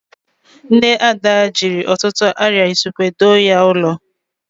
Nne Ada jiri ọtụtụ arịa usekwu doo ya ụlọ.